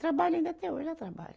Trabalha ainda até hoje, ela trabalha.